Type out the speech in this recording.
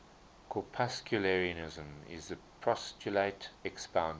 corpuscularianism is the postulate expounded